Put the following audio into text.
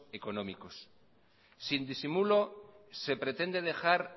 económicos sin disimulo se pretende dejar